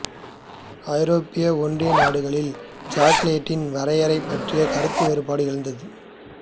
ஐரோப்பிய ஒன்றிய நாடுகளில் சாக்கொலேட்டின் வரையறை பற்றி கருத்து வேறுபாடு எழுந்துள்ளது